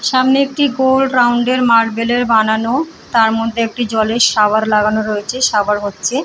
সামনে একটি গোল রাউন্ড -এর মার্বেল -এর বানানো তার মধ্যে একটি জলের শাওয়ার লাগানো রয়েছে শাওয়ার হচ্ছে।